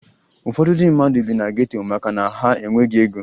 Ụfọdụ ndị mmadụ bi na geto maka na ha e nweghi ego